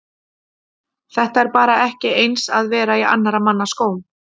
Þetta er bara ekki eins að vera í annara mann skóm.